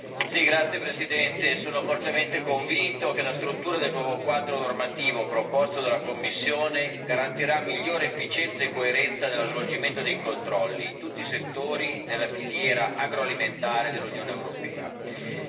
Signor Presidente, onorevoli colleghi, sono fortemente convinto che la struttura del nuovo quadro normativo proposto dalla Commissione garantirà migliore efficienza e coerenza nello svolgimento dei controlli in tutti i settori della filiera agroalimentare dell'Unione europea.